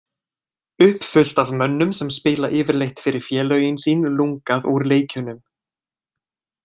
Uppfullt af mönnum sem spila yfirleitt fyrir félögin sín lungað úr leikjunum.